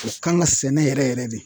U kan ka sɛnɛ yɛrɛ yɛrɛ de.